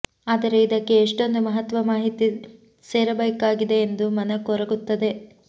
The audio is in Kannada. ಆದರೆ ಇದಕ್ಕೆ ಎಷ್ಟೊಂದು ಮಹತ್ವದ ಮಾಹಿತಿ ಸೇರಬೇಕಾಗಿದೆ ಎಂದು ಮನ ಕೊರಗುತ್ತದೆ